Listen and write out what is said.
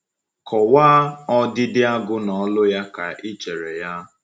Kọwaa ọdịdị Agu na olu ya ka ị chere ya.